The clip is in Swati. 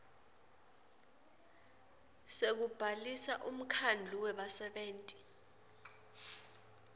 sekubhalisa umkhandlu webasebenti